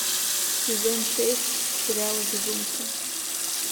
сезон шесть сериала безумцы